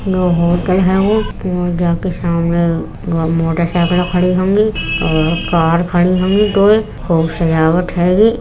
यो hotel हैगो जाके सामने मोटरसाइकिल खड़ी होंगी और कार खड़ी होंगी दो एक एक खूब सजावट हैगी।